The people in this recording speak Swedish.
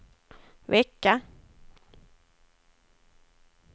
vecka